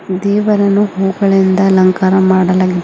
ದೇವರನ್ನು ಹೂಗಳಿಂದ ಅಲಂಕಾರ ಮಾಡಲಾಗಿದೆ ಮೇ--